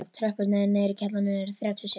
Tröppurnar niður í kjallara eru þrjátíu og sjö.